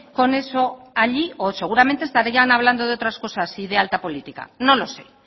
con eso allí o seguramente estarían hablando de otras cosas y de alta política no lo sé